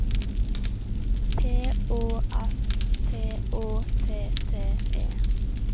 P Å S T Å T T E